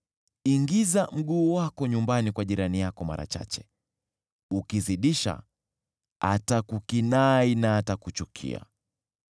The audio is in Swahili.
Ingiza mguu wako nyumbani kwa jirani yako mara chache, ukizidisha, atakukinai na atakuchukia.